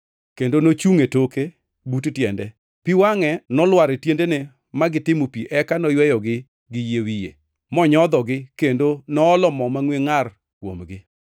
kendo nochungʼ e toke, but tiende, pi wangʼe nolwar e tiendene ma gitimo pi eka noyweyogi gi yie wiye, monyodhogi kendo noolo mo mangʼwe ngʼar kuomgi.